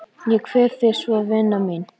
Ég kveð þig svo vina mín.